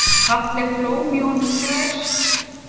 Fallegt blóm í honum grær.